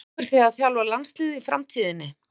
Langar þig til að þjálfa landsliðið í framtíðinni?